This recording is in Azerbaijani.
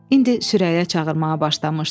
İndi Sürəya çağırmağa başlamışdı.